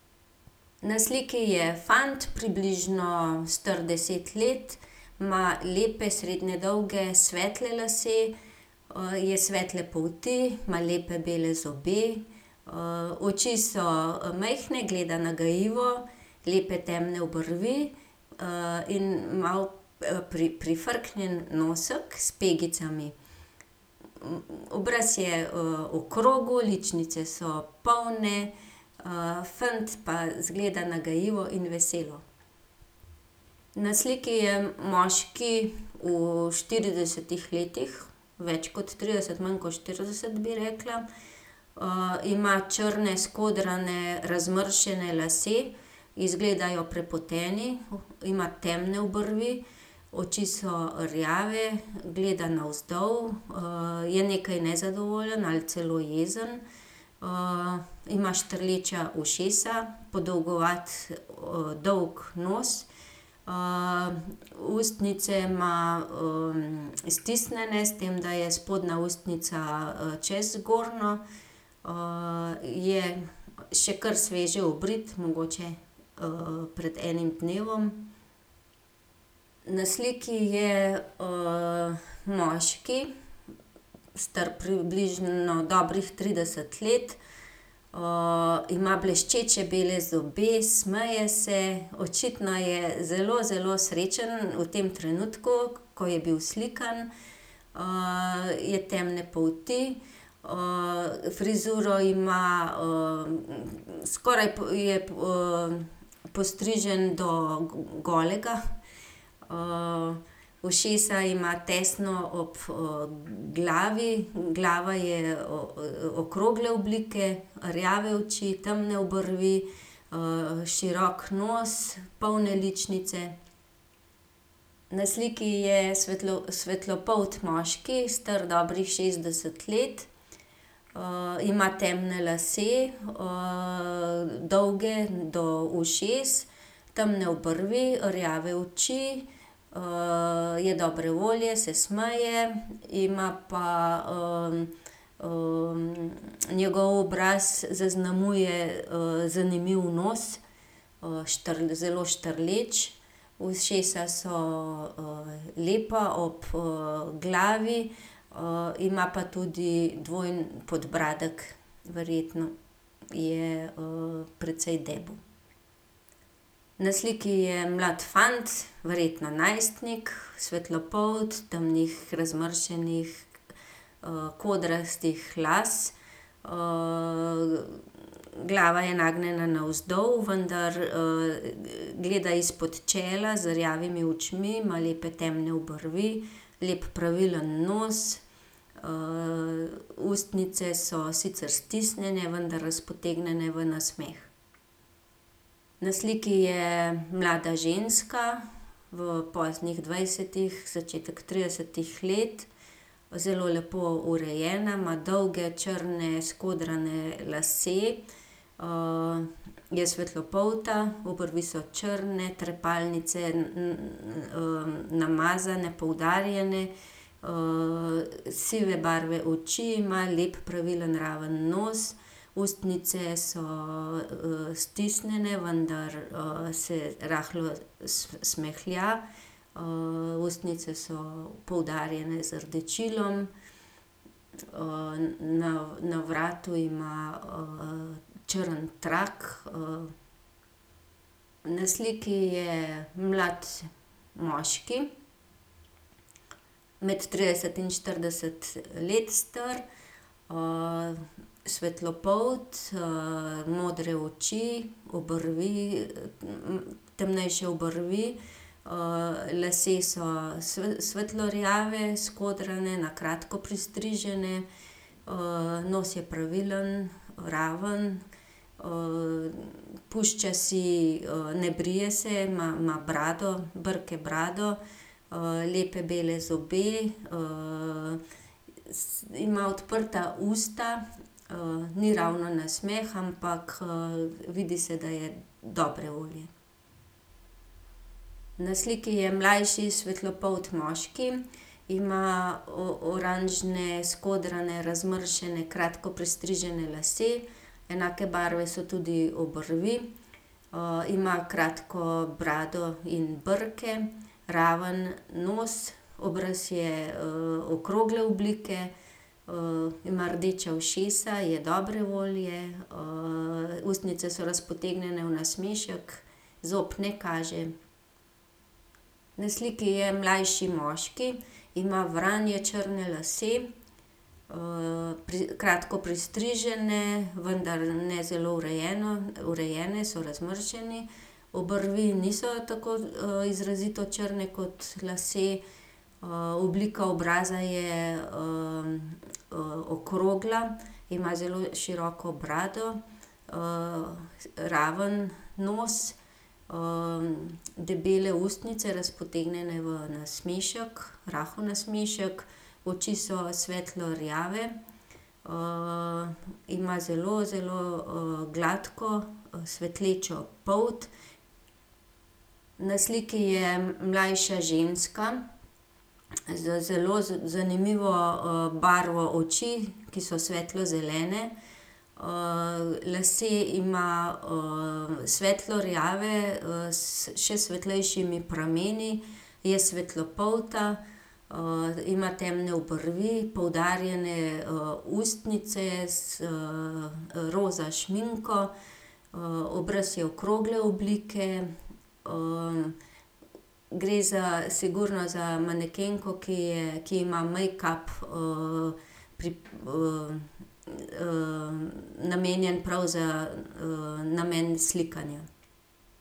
Na sliki je fant, približno star deset let. Ima lepe, srednje dolge, svetle lase. je svetle polti, ima lepe bele zobe. oči so majhne, gleda nagajivo, lepe temne obrvi, in malo, prifrknjen nosek s pegicami. Obraz je, okrogel, ličnice so polne, fant pa izgleda nagajivo in veselo. Na sliki je moški v štiridesetih letih, več kot trideset, manj kot štirideset, bi rekla. ima črne skodrane, razmršene lase. Izgledajo prepoteni. Ima temne obrvi, oči so rjave, gleda navzdol, je nekaj nezadovoljen ali celo jezen. ima štrleča ušesa, podolgovat, dolg nos, ustnice ima, stisnjene, s tem da je spodnja ustnica, čez zgornjo. je še kar sveže obrit, mogoče, pred enim dnevom. Na sliki je, moški, star približno dobrih trideset let. ima bleščeče bele zobe, smeje se, očitno je zelo, zelo srečen v tem trenutku, ko je bil slikan. je temne polti, frizuro ima, skoraj je, postrižen do golega. ušesa ima tesno ob, glavi, glava je okrogle oblike. Rjave oči, temne obrvi, širok nos, polne ličnice. Na sliki je svetlopolt moški, star dobrih šestdeset let. ima temne lase, dolge do ušes, temne obrvi, rjave oči, je dobre volje, se smeje. Ima pa, njegov obraz zaznamuje, zanimiv nos, zelo štrleč. Ušesa so, lepa, ob, glavi. ima pa tudi dvojni podbradek. Verjetno je, precej debel. Na sliki je mlad fant, verjetno najstnik, svetlopolt, temnih razmršenih, kodrastih las. glava je nagnjena navzdol, vendar, gleda izpod čela z rjavimi očmi, ima lepe, temne obrvi, lep pravilen nos, ustnice so sicer stisnjene, vendar razpotegnjene v nasmeh. Na sliki je mlada ženska v poznih dvajsetih, začetek tridesetih let. Zelo lepo urejena, ima dolge črne skodrane lase, je svetlopolta, obrvi so črne, trepalnice namazane, poudarjene. sive barve oči ima, lep pravilen, raven nos, ustnice so, stisnjene, vendar, se rahlo smehlja. ustnice so poudarjene z rdečilom. na, na vratu ima, črn trak, Na sliki je mlad moški, med trideset in štirideset let star. svetlopolt, modre oči, obrvi, temnejše obrvi. lasje so, svetlo rjavi, skodrani, na kratko pristriženi. nos je pravilen, raven. pušča si, ne brije se, ima, ima brado, brke, brado, lepe bele zobe, ima odprta usta. ni ravno nasmeh, ampak, vidi se, da je dobre volje. Na sliki je mlajši svetlopolt moški. Ima oranžne skodrane, razmršene, kratko pristrižene lase. Enake barve so tudi obrvi. ima kratko brado in brke, raven nos, obraz je, okrogle oblike. ima rdeča ušesa, je dobre volje, ustnice so razpotegnjene v nasmešek. Zob ne kaže. Na sliki je mlajši moški. Ima vranje črne lase, kratko pristrižene, vendar ne zelo urejene, so razmršeni. Obrvi niso tako, izrazito črne kot lasje. oblika obraza je, okrogla, ima zelo široko brado, raven nos, debele ustnice, razpotegnjene v nasmešek, rahel nasmešek. Oči so svetlo rjave, ima zelo, zelo, gladko, svetlečo polt. Na sliki je mlajša ženska z zelo zanimivo, barvo oči, ki so svetlo zelene. lase ima, svetlo rjave, s še svetlejšimi prameni. Je svetlopolta. ima temne obrvi, poudarjene, ustnice z, roza šminko, obraz je okrogle oblike. gre za, sigurno za manekenko, ki je, ki ima mejkap, namenjen prav za, namen slikanja.